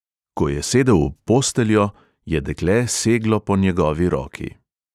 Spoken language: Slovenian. Ko je sedel ob posteljo, je dekle seglo po njegovi roki.